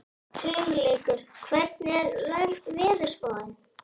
Hugleikur, hvernig er veðurspáin?